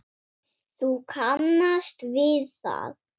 Þú kannast við það!